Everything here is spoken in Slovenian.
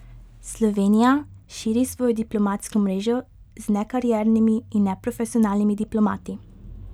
Slovenija širi svojo diplomatsko mrežo z nekariernimi in neprofesionalnimi diplomati.